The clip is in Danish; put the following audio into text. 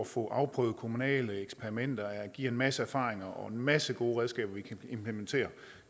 få afprøvet kommunale eksperimenter giver en masse erfaringer og en masse gode redskaber vi kan implementere